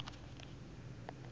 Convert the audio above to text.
baji